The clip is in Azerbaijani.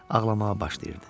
Ağlamağa başlayırdı.